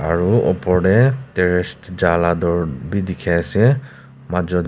aru opor te terrace ja laga door bhi dekhi ase majut--